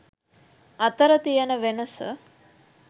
අතර තියන වෙනස.